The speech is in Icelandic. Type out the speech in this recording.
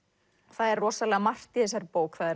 það er rosalega margt í þessari bók það